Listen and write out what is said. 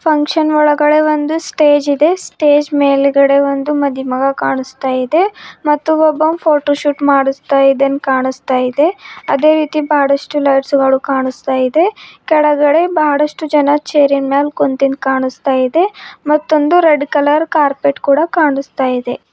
Function ಒಳಗಡೆ ಒಂದು stage ಇದೆ ಸ್ಟೇಜ್ ಮೇಲ್ಗಡೆ ಒಂದು ಮದಿ ಮಗ ಕಾಣಸ್ತಾಯಿದೆ ಮತ್ತು ಒಬ್ಬ ಫೋಟೋ ಶೂಟ್ ಮಾಡಿಸ್ತಾ ಇದೇನ್ ಕಾಣಸ್ತಾಯಿದೆ ಅದೇ ರೀತಿ ಬಹಳಷ್ಟು ಲೈಟ್ಸ್ ಗಳು ಕಾಣಸ್ತಾಯಿದೆ ಕೆಳಗಡೆ ಬಾಳಷ್ಟು ಜನ ಚೇರಿನ್ ಮ್ಯಾಲ್ ಕುಂತಿದ್ದ ಕಾಣಸ್ತಾಯಿದೆ ಮತ್ತೊಂದು ರೆಡ್ ಕಲರ್ ಕಾರ್ಪೆಟ್ ಕೂಡ ಕಾಣಸ್ತಾಯಿದೆ.